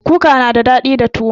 Kuka na da daɗi da tuwo